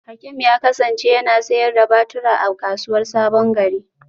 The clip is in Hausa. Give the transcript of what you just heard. Hakim ya kasance yana sayar da batura a kasuwar sabongeri.